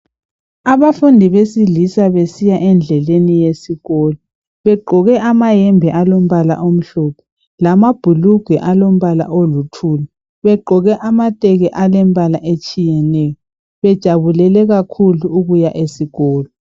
Abafundi besilisa besiya endleleni yesikolo begqoke amayembe alombala omhlophe lamabhulugwe alombala oluthuli begqoke amateki alembala etshiyeneyo bejabulele kakhulu ukuya esikolo.